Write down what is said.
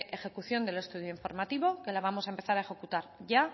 ejecución del estudio informativo que la vamos a empezar a ejecutar ya